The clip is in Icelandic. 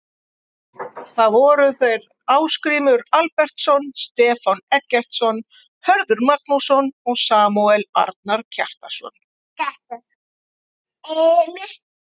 Það voru þeir Ásgrímur Albertsson, Stefán Eggertsson, Hörður Magnússon og Samúel Arnar Kjartansson.